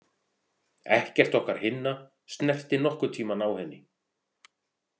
Ekkert okkar hinna snerti nokkurntímann á henni.